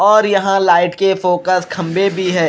और यहाँ लाइट के फोकस खंबे भी है।